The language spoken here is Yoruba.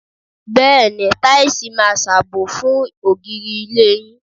Bẹ́ẹ̀ni, táìsì máa ṣàbò fún ògiri ilé yín.